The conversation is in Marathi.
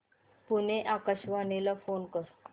पुणे आकाशवाणीला फोन कर